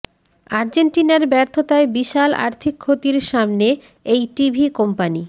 আর্জেন্টিনার ব্যর্থতায় বিশাল আর্থিক ক্ষতির সামনে এই টিভি কোম্পানি